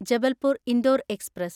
Jabalpur Indore express